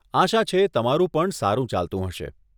આશા છે, તમારું પણ સારું ચાલતું હશે.